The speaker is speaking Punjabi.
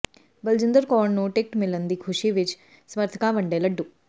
ਬਲਜਿੰਦਰ ਕੌਰ ਨੂੰ ਟਿਕਟ ਮਿਲਣ ਦੀ ਖੁਸ਼ੀ ਵਿੱਚ ਸਮੱਰਥਕਾਂ ਵੰਡੇ ਲੱਡੂ